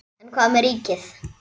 En hvað með ríkið?